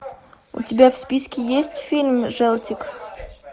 у тебя в списке есть фильм желтик